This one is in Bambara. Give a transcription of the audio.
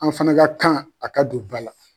An fana ka kan a ka don ba la.